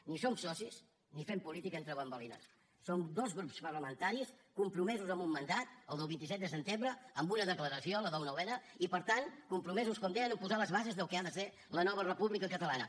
ni som socis ni fem política entre bambolines som dos grups parlamentaris compromesos amb un mandat el del vint set de setembre amb una declaració la del nou n i per tant compromesos com deia a posar les bases del que ha de ser la nova república catalana